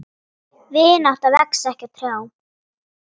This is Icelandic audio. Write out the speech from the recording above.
Vinátta vex ekki á trjám.